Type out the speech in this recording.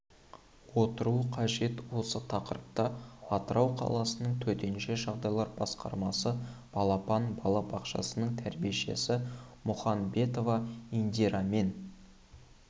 отыру қажет осы тақырыпта атырау қаласының төтенше жағдайлар басқармасы балапан бала бақшасының тәрбиешісі мұханбетова индирамен